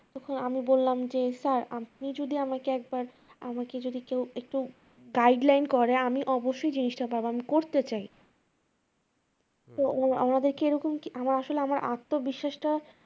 তখন আমি বললাম যে স্যার আপনি যদি আমাকে একবার আমাকে যদি কেউ একটু গাইডলাইন করে আমি অবশ্যই জিনিসটা পারবো আমি করতে চাই তো উনাদেরকে এরকম আমার আসলে আমার আত্মবিশ্বাস টা তখন